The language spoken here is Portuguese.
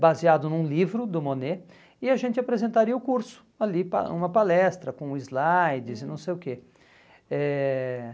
baseado num livro do Monet, e a gente apresentaria o curso ali, pa uma palestra com slides e não sei o quê. Eh